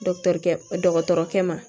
dɔgɔtɔrɔkɛ ma